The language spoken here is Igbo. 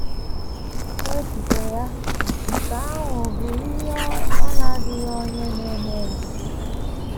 N’echiche ya, nke ahụ bụ ihe “ ọ na - adịghị onye na - eme ya. ”